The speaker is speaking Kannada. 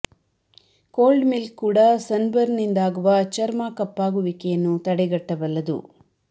ಕೋಲ್ಡ್ ಮಿಲ್ಕ್ ಕೂಡ ಸನ್ ಬರ್ನ್ ನಿಂದಾಗುವ ಚರ್ಮಾ ಕಪ್ಪಾಗುವಿಕೆಯನ್ನು ತಡೆಗಟ್ಟಬಲ್ಲದ್ದು